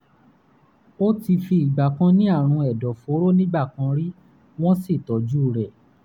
ó ti fi ìgbà kan ní àrùn ẹ̀dọ̀fóró nígbà kan rí wọ́n sì tọ́jú rẹ̀